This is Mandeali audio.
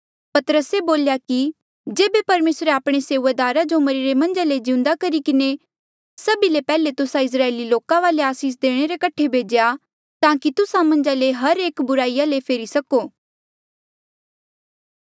पतरसे बोल्या कि जेबे परमेसरे आपणे सेऊआदारा जो मरिरे मन्झ ले जिउंदा करी किन्हें सभी ले पैहले तुस्सा इस्राएली लोका वाले आसीस देणे रे कठे भेज्या ताकि तुस्सा मन्झा ले हर एक बुराईया ले फेरी सको